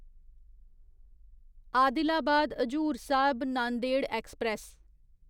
Adilabad Hazur Sahib Nanded express